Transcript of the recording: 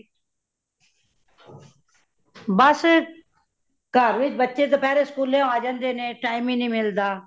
ਬੱਸ , ਘਰ ਵੀਚ ਬੱਚੇ ਦੁਪਹਿਰੇ ਸਕੂਲੋ ਆ ਜਾਂਦੇ ਨੇ time ਹੀ ਨਹੀਂ ਮਿਲਦਾ